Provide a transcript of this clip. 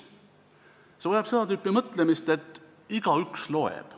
See vajab seda tüüpi mõtlemist, et igaüks loeb.